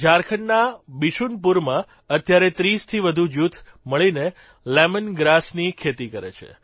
ઝારખંડના બિશુનપુરમાં અત્યારે 30થી વધુ જૂથ મળીને લેમન ગ્રાસની ખેતી કરે છે